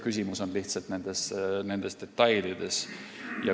Küsimus on lihtsalt detailides.